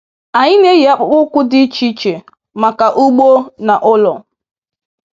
Anyị na-eyi akpụkpọ ụkwụ dị iche iche maka ugbo na ụlọ.